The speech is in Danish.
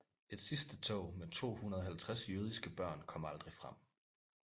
Et sidste tog med 250 jødiske børn kom aldrig frem